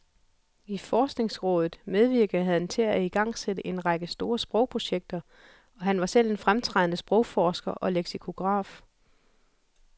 I forskningsrådet medvirkede han til at igangsætte en række store sprogprojekter, og han var selv en fremtrædende sprogforsker og leksikograf.